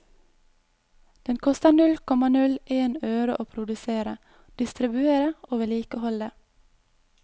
Den koster null komma null en øre å produsere, distribuere og vedlikeholde.